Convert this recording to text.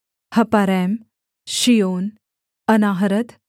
हपारैम शीओन अनाहरत